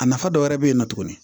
A nafa dɔ wɛrɛ bɛ yen nɔ tuguni